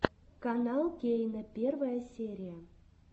канал кейна первая серия